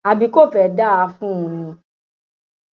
àbí kò fẹẹ dáa fún un ni